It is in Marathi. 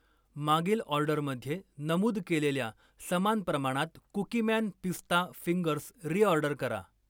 मागील ऑर्डरमध्ये नमूद केलेल्या समान प्रमाणात कुकीमॅन पिस्ता फिंगर्स रीऑर्डर करा.